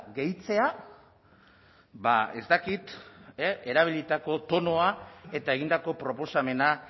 gehitzea ba ez dakit erabilitako tonoa eta egindako proposamena